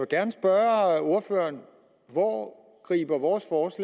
gerne spørge ordføreren hvor griber vores vores